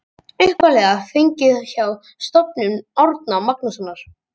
Upphaflega fengið hjá Stofnun Árna Magnússonar.